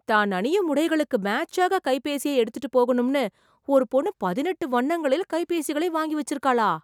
தான் அணியும் உடைகளுக்கு மேட்ச்சாக கைபேசியை எடுத்துட்டுப் போகணும்னு, ஒரு பொண்ணு பதினெட்டு வண்ணங்களில் கைபேசிகளை வாங்கி வெச்சுருக்காளா...